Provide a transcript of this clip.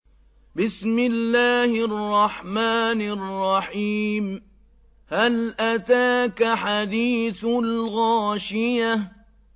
هَلْ أَتَاكَ حَدِيثُ الْغَاشِيَةِ